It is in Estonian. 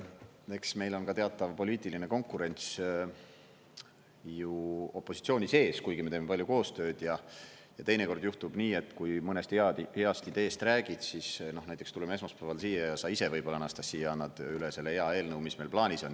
Eks meil on ka teatav poliitiline konkurents ju opositsiooni sees, kuigi me teeme palju koostööd, ja teinekord juhtub nii, et kui mõnest heast ideest räägid, siis näiteks tuleme esmaspäeval siia ja sa ise võib-olla, Anastassia, annad üle selle hea eelnõu, mis meil plaanis on.